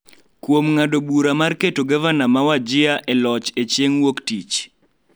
kuom ng�ado bura mar keto Gavana ma Wajir e loch e Chieng� Wuok Tich.